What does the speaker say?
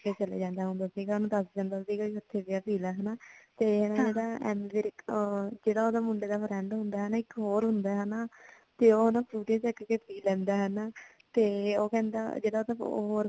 ਚਲੇ ਜਾਂਦਾ ਹੁੰਦਾ ਸੀਗਾ ਉਹਨੂੰ ਦੱਸ ਦਿੰਦਾ ਸੀਗਾ ਉਥੇ ਪਿਆ ਪੀਲਾ ਹਨਾਂ ਤੇ ਹਨਾਂ ਜਿਹੜਾ ਐਮੀ ਵਿਰਕ ਆ ਜਿਹੜਾਉਹਦੇ ਮੁੰਡੇ ਦਾ friend ਹੁੰਦਾ ਇੱਕ ਹੋਰ ਹੁੰਦਾ ਹਨਾਂ ਤੇ ਉਹ ਨਾ ਫਰੂਟੀ ਚੱਕ ਕੇ ਪੀ ਲੈਂਦਾ ਹਨਾਂ ਤੇ ਉਹ ਕਹਿਦਾ ਜਿਹੜਾ ਤਾਂ